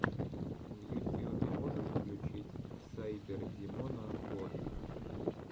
в ютьюбе можешь включить сайбердимона вот